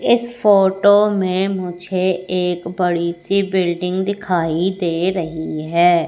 इस फोटो में मुझे एक बड़ी सी बिल्डिंग दिखाई दे रही है।